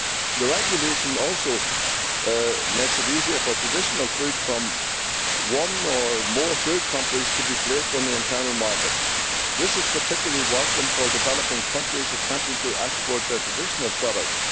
The regulation also makes it easier for traditional food from one or more third countries to be placed on the internal market. This is particularly welcome for developing countries attempting to export their traditional products.